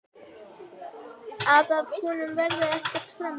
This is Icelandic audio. Að af honum verði ekkert framhald.